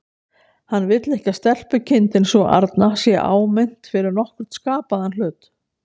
Hann vill ekki að stelpukindin sú arna sé áminnt fyrir nokkurn skapaðan hlut.